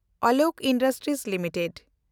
Alok industries limited